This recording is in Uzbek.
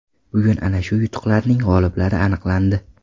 Bugun ana shu yutuqlarning g‘oliblari aniqlandi.